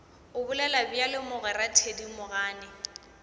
o bolela bjalo mogwera thedimogane